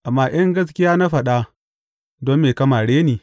Amma in gaskiya na faɗa, don me ka mare ni?